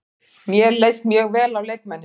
Mér leist mjög vel á leikmennina.